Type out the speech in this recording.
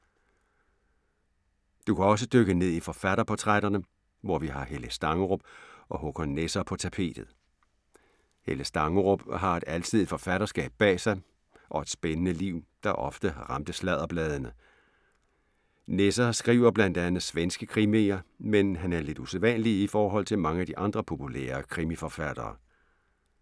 Du kan også dykke ned i forfatterportrætterne, hvor vi har Helle Stangerup og Håkan Nesser på tapetet. Helle Stangerup har et alsidigt forfatterskab bag sig og et spændende liv, der ofte ramte sladderbladene. Nesser skriver blandt andet svenske krimier, men han er lidt usædvanlig i forhold til mange af de andre populære krimiforfattere.